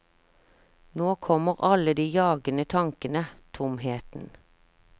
Nå kommer alle de jagende tankene, tomheten.